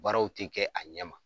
Baarow ti kɛ a ɲɛma.